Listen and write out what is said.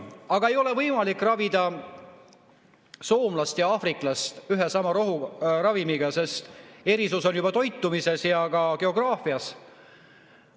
Aga ei ole võimalik ravida soomlast ja aafriklast ühe ja sama ravimiga, sest erisus on juba toitumises ja ka geograafias.